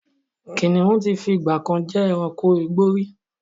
Kínníun tí fi ìgbàkan jẹ́ ẹranko igbó rí